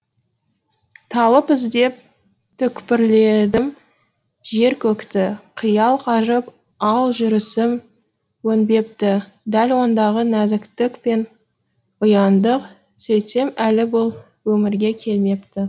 талып іздеп түкпірледім жер көкті қиял қажып ал жүрісім өнбепті дәл ондағы нәзіктік пен ұяңдық сөйтсем әлі бұл өмірге келмепті